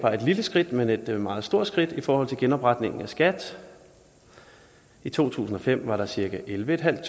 lille skridt men et meget stort skridt i forhold til genopretningen af skat i to tusind og fem var der cirka ellevetusinde